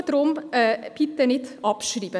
Deshalb: bitte noch nicht abschreiben.